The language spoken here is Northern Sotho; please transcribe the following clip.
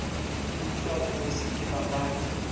utswa go bose ke papadi